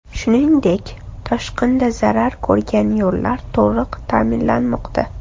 Shuningdek, toshqindan zarar ko‘rgan yo‘llar to‘liq ta’mirlanmoqda.